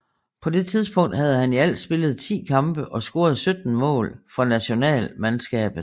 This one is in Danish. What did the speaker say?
På det tidspunkt havde han i alt spillet 10 kampe og scoret 17 mål for nationalmandskabet